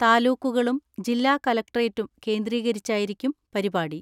താലൂക്കുകളും ജില്ലാ കലക്ടറേറ്റും കേന്ദ്രീകരിച്ചായിരിക്കും പരിപാടി.